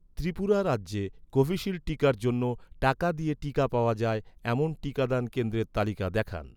ত্রিপুরা রাজ্যে, কোভিশিল্ড টিকার জন্য, টাকা দিয়ে টিকা পাওয়া যায়, এমন টিকাদান কেন্দ্রের তালিকা দেখান